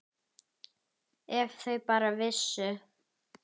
Ef þau bara vissu.